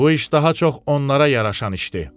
Bu iş daha çox onlara yaraşan işdir.